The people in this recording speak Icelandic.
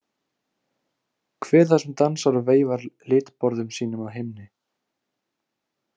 Hver er það sem dansar og veifar litborðum sínum að himni?